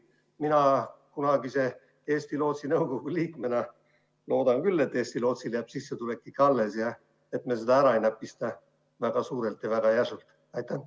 Mina kunagise Eesti Lootsi nõukogu liikmena loodan küll, et Eesti Lootsile jääb sissetulek ikka alles ja et me seda väga suurelt ja väga järsult ära ei näpista.